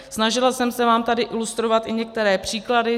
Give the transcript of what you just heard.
Snažila jsem se vám tady ilustrovat i některé příklady.